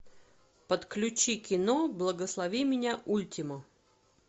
подключи кино благослови меня ультима